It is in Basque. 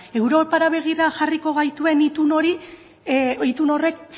europara begira jarriko gaituen itun horrek